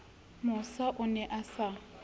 mosa o ne a sa